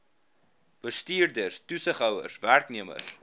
bestuurders toesighouers werknemers